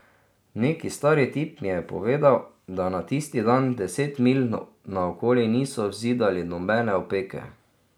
Neki stari tip mi je povedal, da na tisti dan deset milj naokoli niso vzidali nobene opeke.